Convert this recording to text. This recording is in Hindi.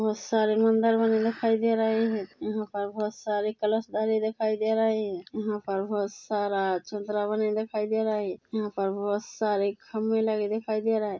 बहोत सारे मंदर बने दिखाई दे रहे है यहाँ पर बहोत सारे कलश धरे दिखाई दे रहे है यहाँ पर बहोत सारा चंद्रा बने दिखाई दे रहे है यहाँ पर बहोत सारे खम्भे लगे दिखाई दे रहा है।